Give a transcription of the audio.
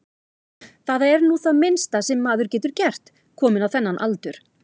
Það er nú það minnsta sem maður getur gert, kominn á þennan aldur.